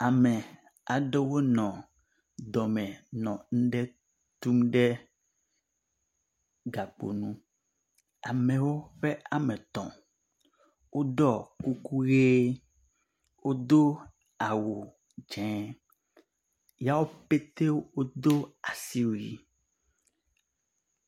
Ame aɖewo nɔ dɔme nɔ nu ɖe tum ɖe gakpo nu. Amewo ƒe woametɔ̃ woɖɔ kuku ʋie. Wod awu dzĩ yea pɛtɛ wodo asiwui.